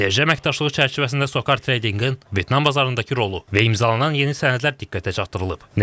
Enerji əməkdaşlığı çərçivəsində Socar Trading-in Vyetnam bazarındakı rolu və imzalanan yeni sənədlər diqqətə çatdırılıb.